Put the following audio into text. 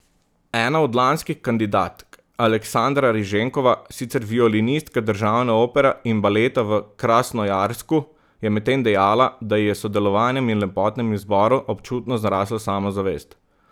Ena od lanskih kandidatk Aleksandra Riženkova, sicer violinistka državne opere in baleta v Krasnojarsku, je medtem dejala, da ji je s sodelovanjem na lepotnem izboru občutno zrasla samozavest.